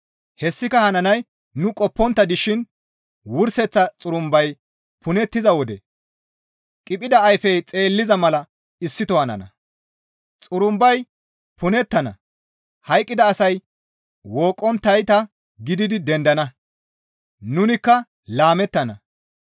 Hessika hananay nu qoppontta dishin wurseththa xurumbay punettiza wode qiphida ayfey xeelliza mala issito hanana; xurumbay punettana; hayqqida asay wooqqonttayta gididi dendana; nunikka laamettana.